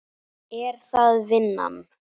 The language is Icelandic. Er það vinnan?